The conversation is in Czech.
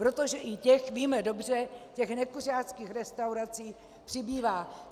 Protože i těch, víme dobře, těch nekuřáckých restaurací přibývá.